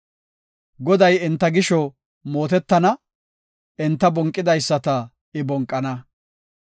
Goday enta gisho mootetana; enta bonqidaysata I bonqana.